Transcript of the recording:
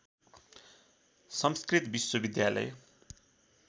संस्कृत विश्वविद्यालय